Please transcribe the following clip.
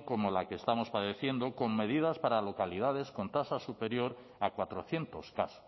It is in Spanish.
como la que estamos padeciendo con medidas para localidades con tasa superior a cuatrocientos casos